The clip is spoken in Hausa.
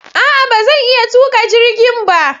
A'a! Ba zan iya tuka jirgin ba.